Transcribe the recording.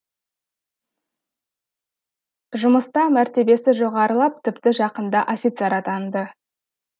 жұмыста мәртебесі жоғарылап тіпті жақында офицер атанды